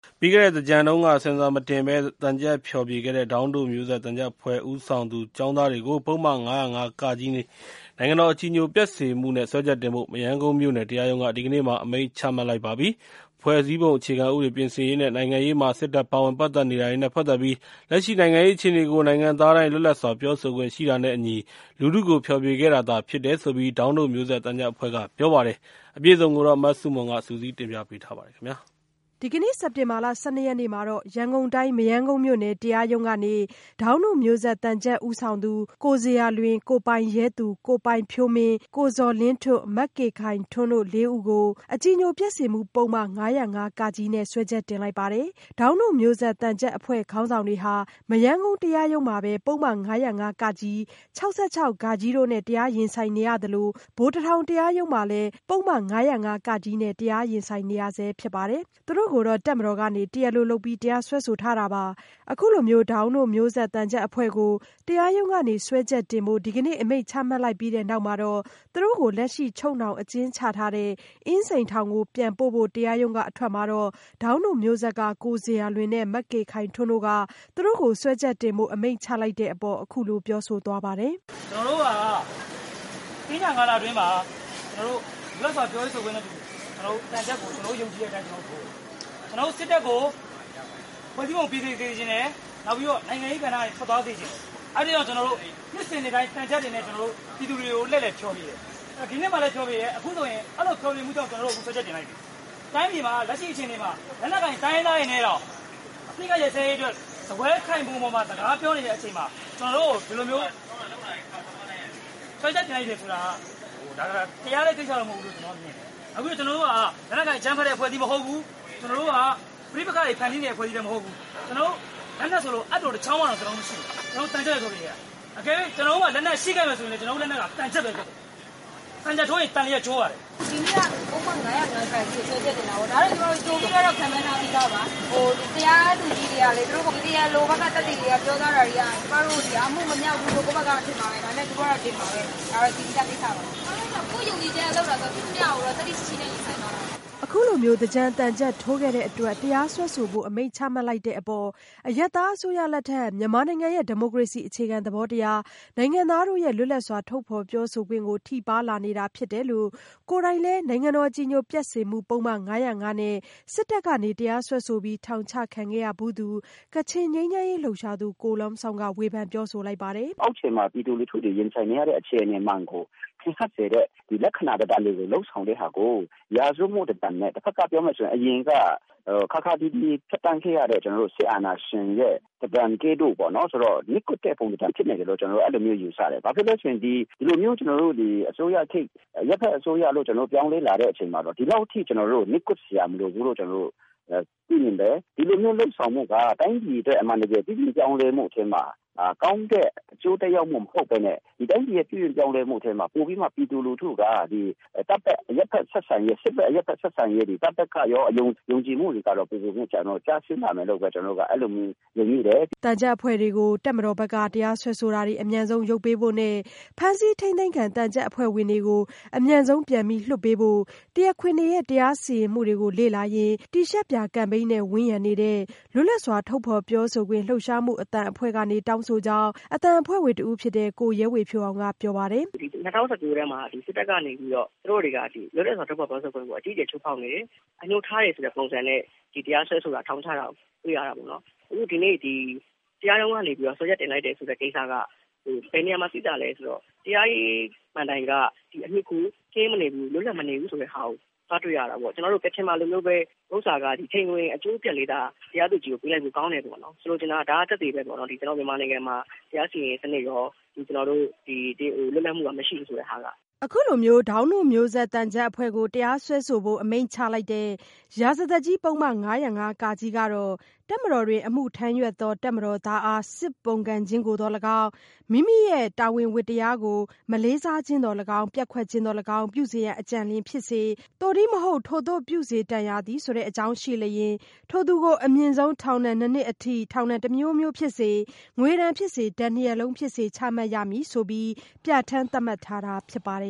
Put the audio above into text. ပြီးခဲ့တဲ့သင်္ကြန်တုန်းက ဆင်ဆာမတင်ဘဲ သံချပ်ဖျော်ဖြေခဲ့တဲ့ ဒေါင်းတို့မျိုးဆက်သံချပ်အဖွဲ့ ဦးဆောင်သူ ကျောင်းသားတွေကို ပုဒ်မ ၅၀၅ (က) နိုင်ငံတော် အကြည်ညိုပျက်စေမှုနဲ့ စွဲချက်တင်ဖို့ မရမ်းကုန်းမြို့နယ် တရားရုံးက ဒီကနေ့အမိန့်ချမှတ်လိုက်ပါပြီ။ ဖွဲ့စည်းပုံ အခြေခံဥပဒေပြင်ဆင်ရေးနဲ့ နိုင်ငံရေးမှာ စစ်တပ် ပါဝင်နေတာတွေနဲ့ပတ်သက်ပြီး လက်ရှိနိုင်ငံရေး အခြေအနေကို နိုင်ငံသားတိုင်း လွတ်လပ်စွာပြောဆိုခွင့်ရှိတာနဲ့အညီ လူထုကိုဖျော်ဖြေခဲ့တာသာဖြစ်တယ်လို့ ဒေါင်းတို့မျိုးဆက်သံချပ်အဖွဲ့က ပြောပါတယ်။ မဆုမွန် စုစည်းတင်ပြပေးထားပါတယ်။ ဒီကနေ့ စက်တင်ဘာလ ၁၂ ရက်နေ့ မှာ ရန်ကုန်တိုင်း မရမ်းကုန်းမြို့နယ် တရားရုံးကနေ ဒေါင်းတို့မျိုးဆက် သံချပ်ဦးဆောင်သူ ကိုဇေယျာလွင်၊ ကိုပိုင်ရဲသူ၊ ကိုပိုင်ဖြိုးမင်း၊ ကိုဇော်လင်းထွဋ်၊ မကေခိုင်ထွန်းတို့ လေးဦးကို အကြည်ညိုပျက်စေမှု ပုဒ်မ ၅၀၅ (က) နဲ့ စွဲချက်တင်လိုက်ပါတယ်။ ဒေါင်းတို့မျိုးဆက် သံချပ်အဖွဲ့ ခေါင်းဆောင်တွေဟာ မရမ်းကုန်း တရားရုံးမှာ ပုဒ်မ ၅၀၅ (က)၊ ၆၆ (ဃ) တို့နဲ့ တရားရင်ဆိုင်နေရသလို ဗိုလ်တထောင် တရားရုံးမှာလည်း ပုဒ်မ ၅၀၅ (က) နဲ့ တရားရင်ဆိုင်နေရဆဲ ဖြစ်ပါတယ်။ သူတို့ကို တပ်မတော်က တရားလိုလုပ်ပြီး တရားစွဲထားတာပါ။ ဒေါင်းတို့မျိုးဆက်သံချပ်အဖွဲ့ကို တရားရုံးကနေ စွဲချက်တင်ဖို့ ဒီကနေ့ အမိန့်ချမှတ်လိုက်ပြီးတဲ့နောက် သူတို့ကို လက်ရှိချုပ်နှောင် အကျဉ်းချထားတဲ့ အင်းစိန်ထောင်ကိုပြန်ပို့ဖို့ တရားရုံးကအထွက်မှာတော့ ဒေါင်းတို့မျိုးဆက်က ကိုဇေယျာလွင်နဲ့ မကေခိုင်ထွန်းတို့က သူတို့ကို စွဲချက်တင်ဖို့ အမိန့်ချလိုက်တဲ့အပေါ် အခုလိုပြောဆိုသွားပါတယ်။ “ကျနော်တို့က သင်္ကြန်ကာလအတွင်းမှာ ကျနေ်ာတို့က လွတ်လပ်စွာပြောဆိုတာကို ယုံကြည်တဲ့အတွက် သင်္ကြန်သံချပ် ထိုးတယ်။ ကျနေ်ာတို့ စစ်တပ်ကို ဖွဲ့စည်းပုံ ပြင်ဆင်စေချင်တယ်။ နောက်ပြီးတော့ နိုင်ငံရေးကဏ္ဍကနေ ထွက်သွားစေချင်တယ်။ အဲဒါကြောင့် ကျနော်တို့ နှစ်စဉ်နှစ်တိုင်း သံချပ်တွေနဲ့ ကျနော်တို့ ပြည်သူကို လှည့်လည်ဖျော်ဖြေတယ်။ ဒီနှစ်မှာလည်း ဖျော်ဖြေတယ် အခုဆိုရင် အဲဒီလိုဖျော်ဖြေတဲ့အတွက် ကျနော်တို့ကို စွဲချက်တင် ခံရတယ်။ တိုင်းပြည်မှာ လက်ရှိအခြေအနေမှာ လက်နက်ကိုင်တိုင်းရင်းသားတွေနဲ့တောင် စားပွဲထိုင်ခုံပေါ်မှာ လက်ရှိစကားပြောနေတဲ့အချိန်မှာ ကျနော်တို့ကို ဒီလိုမျိုးစွဲချက်တင်လိုက်တယ်ဆိုတာက တရားတဲ့ကိစ္စမဟုတ်ဘူးလို့ ကျနော်တို့ထင်တယ်။ အခုကျနော်တို့က လက်နက်ကိုင်အကြမ်းဖက်တဲ့ အဖွဲ့အစည်းမဟုတ်ဘူး။ ကျနော်တို့က ပဋိပက္ခတွေဖန်တီးနေတဲ့ အဖွဲ့အစည်းလည်း မဟုတ်ဘူး။ ကျနော်တို့ လက်နက်ဆိုလို့ အပ်တခေါင်းတောင်မရှိဘူး။ ကျနော်တို့က သံချပ်ပဲ လုပ်နေတာ။ တကယ်လို့ ကျနော်တို့မှာ လက်နက်ရှိခဲ့မယ်ဆိုရင် သံချက်ပဲဖြစ်တယ်။ သံချက်ထိုးရင် သန်လျက် ကျိုးတယ်။” “ဒီနေ့ကတော့ ပုဒ်မ ၅၀၅ (က) နဲ့ စွဲချက်တင်တာပေါ့ ဒါကတော့ ကြိုပြီးတော့ ခန့်မှန်းထားပြီးသားပါ။ တရားသူကြီးတွေကလည်း သူတို့ တရားလိုဘက်က သက်သေတွေ ပြောကြားတာတွေက ကျမတို့က အမှုမမြောက်ဘူးလို့ ထင်မှာပဲ ဒါပေမယ့် သူတို့ဘက်ကတော့ တင်မှာပဲ ဒါကတော့ သိပြီးသားကိစ္စပါ။ ကျမတို့တော့ ကိုယ့်ယုံကြည်ချက်နဲ့ လုပ်တာဆိုတော့ ရှိသမျှကိုတော့ သတ္တိရှိရှိနဲ့ ရင်ဆိုင်သွားမှာပါ။” အခုလိုမျိုး သင်္ကြန်သံချပ်ထိုးခဲ့တဲ့အတွက် တရားစွဲဆိုဖို့ အမိန့်ချမှတ်လိုက်တဲ့အပေါ် အရပ်သားအစိုးရလက်ထက် မြန်မာနိုင်ငံရဲ့ ဒီမိုကရေစီအခြေခံသဘောတရား၊ နိုင်ငံသားတို့ရဲ့ လွတ်လပ်စွာထုတ်ဖော်ပြောဆိုခွင့်ကို ထိပါးလာနေတာ ဖြစ်တယ်လို့ ကိုယ်တိုင်လည်း အကြည်ညိုပျက်စေမှု ပုဒ်မ ၅၀၅ နဲ့ စစ်တပ်က တရားစွဲဆိုပြီး ထောင်ချခံခဲ့ရဖူးသူ ကချင်ငြိမ်းချမ်းရေးလှုပ်ရှားသူ ကို Lum Zawng က ဝေဖန်ပြောဆိုပါတယ်။ “အောက်ခြေမှာ ပြည်သူလူထုတွေ ရင်ဆိုင်နေရတဲ့ အခြေအနေမှန်ကို ထင်ဟပ်စေတဲ့ လက္ခဏာတွေ လုပ်ဆောင်တာကို ရာဇဝတ်မှု လိုနဲ့ ပြောမယ်ဆိုရင် အရင်က ခါးခါးသီးသီး ဖြတ်သန်းခဲ့ရတဲ့ စစ်အာဏာရှင်ရဲ့ ပုံစံကဲ့သို့ နှိတ်ကွပ်တဲ့ ပုံစံဖြစ်နေတယ်လို့ ကျနော်တို့ ယူဆတယ်။ ဘာဖြစ်လို့လဲဆိုတော့ ဒီလိုမျိုး အရပ်ဘက်အစိုးရလို့ ပြောင်းလဲလာတဲ့အချိန်မှာတော့ ဒီလောက်အထိ ကျနော်တို့ကို နှိတ်ကွပ်စရာမလိုဘူးလို့ ပြီးရင်လည်း ဒီလိုမျိုးလုပ်ဆောင်မှုက တိုင်းပြည်အတွက် အမှန်တကယ် ပြုပြင်ပြောင်းလဲမှုထဲမှာ ကောင်းတဲ့အကျိုးသက်ရောက်မှု မဟုတ်ပဲနဲ့ တိုင်းပြည်ရဲ့ ပြုပြင်ပြောင်းလဲမှုထဲမှာ ပိုပြီးတော့ ပြည်သူလူထုက တပ်ဘက်၊ စစ်ဘက် အရပ်ဘက် ဆက်ဆံရေး တွေ တပ်ဘက်ကိုရော ယုံကြည်မှုတွေကတော့ ပိုပိုပြီး ကျဆင်းလာမယ်လို့ ကျနော်တို့ အဲလိုမျိုး မြင်မိပါတယ်။” သံချပ်အဖွဲ့တွေကို တပ်မတော်ဘက်က တရားစွဲဆိုတာတွေ အမြန်ဆုံးရုပ်ပေးဖို့နဲ့ ဖမ်းဆီးထိန်းသိမ်းခံ သံချပ်အဖွဲ့ဝင်တွေကို အမြန်ဆုံးပြန်လွှတ်ပေးဖို့ တရားခွင်တွေရဲ့ တရားစီရင်မှုတွေကို လေ့လာရင်း တီရှပ်ပြာကမ်ပိန်းနဲ့ ဝန်းရံနေတဲ့ လွတ်လပ်စွာ ထုတ်ဖော်ပြောဆိုခွင့်လှုပ်ရှားမှု အသံအဖွဲ့က တောင်းဆိုတဲ့အကြောင်း အသံအဖွဲ့ဝင် ကိုရဲဝေဖြိုးအောင်က ပြောပါတယ်။ “၂၀၁၉ ထဲမှာ စစ်တပ်ကနေပြီးတော့ သူတို့တွေက စစ်တပ်ကနေ လွတ်လပ်စွာထုတ်ဖော်ပြောဆိုခွင့်ကို အကြီးအကျယ်ချိုးဖောက်နေတယ်။ အငြိုးထားတယ်ဆိုတဲ့ပုံစံနဲ့ တရားစွဲဆိုတာ ထောင်ခုတာတွေ့ရတာပေါ့နော်။ အခုဒီနေ့ တရားရုံးကနေပြီးတော့ စွဲချက်တင်လိုက်တယ်ဆိုတဲ့ကိစ္စက ဘယ်နေရာမှာတွေ့ရသလဲဆိုတော့ တရားရေး မဏ္တိုင် လွတ်လပ်မနေဘူးဆိုတာတွေ့ရတာပေါ့။ ကျနော်တို့ ကချင်မှာလိုမျိုး ချိန်ခွင်အကျိုးလေး တရားသူကြီးကို ပေးလိုက်လို့ ထောင်ချတယ်ပေါ့နော်။ ဆိုလိုချင်တာကတော့ ကျနော်တို့မြန်မာနိုင်ငံမှာ တရားစီရင်ရေးစနစ်ရော လွတ်လပ်မှုကတော့ မရှိဘူးဆိုတာက။” ဒေါင်းတို့မျိုးဆက်သံချပ်အဖွဲ့ကို တရားစွဲဆိုဖို့ အမိန့်ချလိုက်တဲ့ ရာဇသတ်ကြီး ပုဒ်မ ၅၀၅ (က) ကတော့ တပ်မတော်တွင် အမှုထမ်းရွက်သော တပ်မတော်သားအား စစ်ပုန်ကန်ခြင်းကိုသော်လည်းကောင်း၊ သက်ဆိုင်ရာ မိမိ၏တာဝန်ဝတ္တရားကို မလေးစားခြင်းသော်လည်းကောင်း ၊ ပျက်ကွက်ခြင်းသော်လည်းကောင်း ပြုစေရန်အကြံရှိလျှင်၊ သို့တည်းမဟုတ် ထိုသို့ပြုစေတန်ရာသည့် အကြောင်းရှိလျှင် ထိုသူကို အမြင့်ဆုံးထောင်ဒဏ် နှစ်နှစ်ထိ ထောင်ဒဏ် တစ်မျိုးမျိုးဖြစ်စေ၊ ငွေဒဏ်ဖြစ်စေ၊ ဒဏ်နှစ်ရပ်လုံးဖြစ်စေ ချမှတ်ရမည်ဆိုပြီး ပြဋ္ဌာန်းသတ်မှတ်ထားတာဖြစ်ပါတယ်